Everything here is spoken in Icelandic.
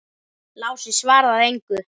Lási svaraði engu.